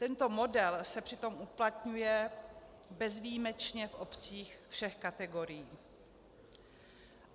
Tento model se přitom uplatňuje bezvýjimečně v obcích všech kategorií.